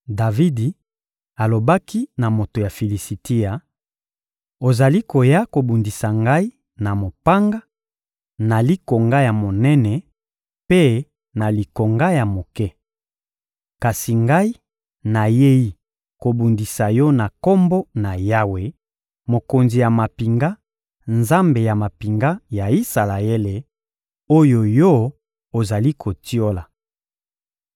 Davidi alobaki na moto ya Filisitia: — Ozali koya kobundisa ngai na mopanga, na likonga ya monene mpe na likonga ya moke. Kasi ngai nayei kobundisa yo na Kombo na Yawe, Mokonzi ya mampinga, Nzambe ya mampinga ya Isalaele, oyo yo ozali kotiola.